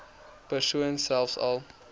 persone selfs al